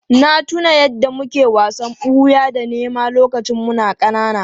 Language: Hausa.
Na tuna yadda muke wasan ɓuya da nema lokacin muna ƙanana.